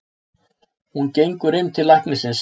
Hún gengur inn til læknisins.